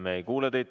Me ei kuule teid.